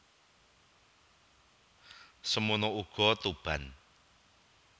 Semana uga Tuban